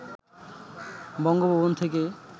বঙ্গভবন থেকে